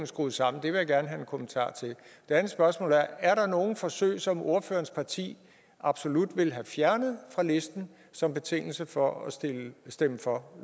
skruet sammen det vil jeg gerne have en kommentar til det andet spørgsmål er er der nogen forsøg som ordførerens parti absolut vil have fjernet fra listen som betingelse for at stemme stemme for